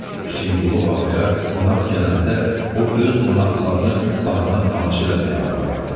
Hüseynqulu ağaya qonaq gələndə o öz qonaqlarını bağına tamaşa eləməyə aparardı.